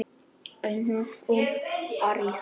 Einsog um árið.